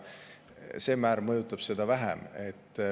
Need määrad mõjuvad vähem.